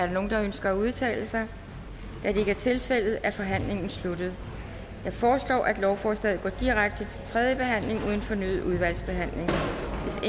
nogen der ønsker at udtale sig da det ikke er tilfældet er forhandlingen sluttet jeg foreslår at lovforslaget går direkte til tredje behandling uden fornyet udvalgsbehandling hvis